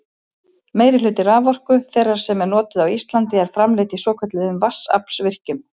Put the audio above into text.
Meirihluti raforku þeirrar sem notuð er á Íslandi er framleidd í svokölluðum vatnsaflsvirkjunum.